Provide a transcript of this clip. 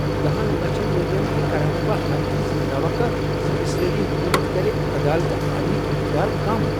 دہن لچھن ورین تہِ كرہا نہٕ بہٕ ہرگز یہِ توقع زِ اسرٲیلی حكومت كرِ عدالت عالیہ ہكۍ اختِیار کم ۔